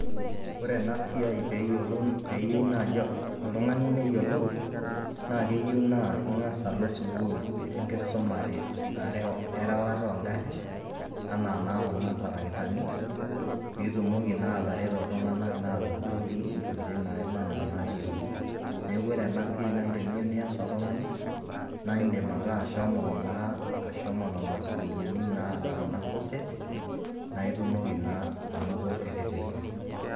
ore ena siai, pee eyiue naaji oltungani neyiolou, naa keyieu naa ingas alo enkusuma erewata oogarin anaa naa kuna, tarakitani, pee itumoki naa atareto iltunganak naa atuturoki intokitin naaba anaa inaayieuni. neeku ore en siai naa teniyieu nias oltungani na aidim ake ashomo sukuulini naata kuna courses naai itumoiki naa anoto eretoto.